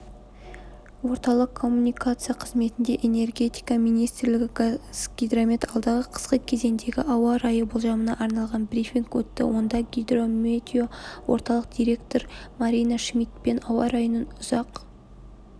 орталық коммуникация қызметінде энергетика министрлігі қазгидромет алдағы қысқы кезеңдегі ауа райы болжамына арналған брифинг өтті онда гидрометео орталық директоры марина шмидтпен ауа-райының ұзақ